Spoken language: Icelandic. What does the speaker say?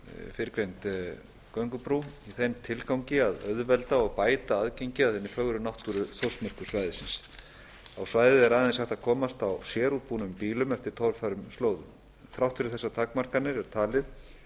fyrrgreind göngubrú í þeim tilgangi að auðvelda og bæta aðgengi að hinni fögru náttúru þórsmerkursvæðisins á svæðið er aðeins hægt að komast á sérútbúnum bílum eftir torfærum slóðum þrátt fyrir þessar takmarkanir er talið að um